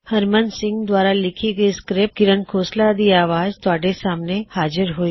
ਹਰਮਨ ਸਿੰਘ ਦੁਆਰਾ ਲਿੱਖੀ ਇਹ ਸਕ੍ਰਿਪਟ ਦੀ ਆਵਾਜ਼ ਵਿਚ ਤੁਹਾਡੇ ਸਾਹਮਣੇ ਹਾਜ਼ਿਰ ਹੋਈ